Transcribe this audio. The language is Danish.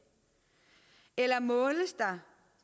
eller måles der